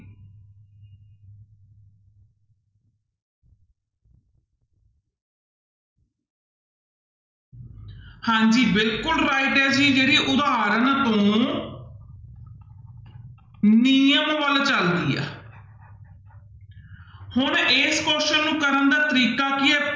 ਹਾਂਜੀ ਬਿਲਕੁਲ right ਹੈ ਜੀ ਜਿਹੜੀ ਉਦਾਹਰਨ ਤੁਹਾਨੂੰ ਨਿਯਮ ਵੱਲ ਚੱਲਦੀ ਆ ਹੁਣ ਇਸ question ਨੂੰ ਕਰਨ ਦਾ ਤਰੀਕਾ ਕੀ ਹੈ